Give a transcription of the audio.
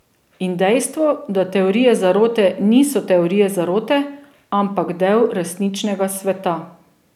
In dejstvo, da teorije zarote niso teorije zarote, ampak del resničnega sveta.